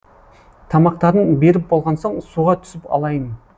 тамақтарын беріп болған соң суға түсіп алайын